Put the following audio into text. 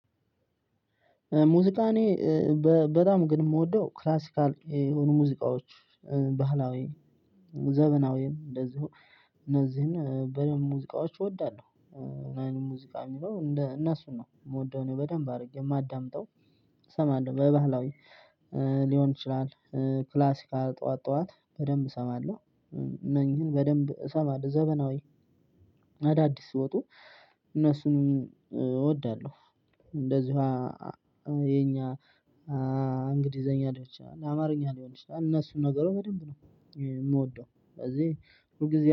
ሙዚቃኔ በጣም ግን የምወደው ክላሲካል የሆኑ ሙዚቃዎች ባህላዊ ዘመናዌ እንደዚሁ እነዚህን በደንብ ሙዚቃዎች እወዳለሁ። ሙዚቃ የሚለው እነሱን ነው የምወደው እኔ በደንብ አድርጌ የማዳምጠው። እሰማለሁ በባህላዊ ሊሆን ይችላል። ክላሲካል ጠዋት ጠዋት በደንብ እሰማለሁ። እነኚህን በደንብ እሰማለሁ ዘመናዌ አዳዲስ ሲወጡ እነሱንም እወዳለሁ። እንደዝሀ የኛ እንግሊዘኛ ሊሆን ይችላል አማርኛ ሊሆን ይችላል እነሱን ነገሩ በደንብ ነው የምወደው ስለዚህ ሁል ጊዜ